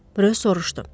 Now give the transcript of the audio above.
Röy soruşdu.